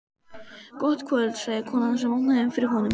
Gott kvöld sagði konan sem opnaði fyrir honum.